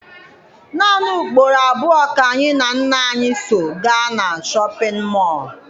Naanị ugboro abụọ ka anyị na nna anyị so gaa na Shọpịn mọọ.